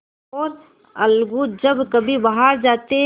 और अलगू जब कभी बाहर जाते